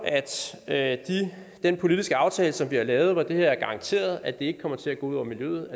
at den politiske aftale som vi har lavet og hvor det er garanteret at det her ikke kommer til at gå ud over miljøet